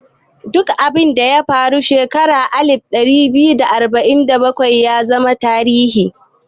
Duk abinda ya faru a shekara ta alif ɗari biyar da arba'in da bakwai ya zama tarihi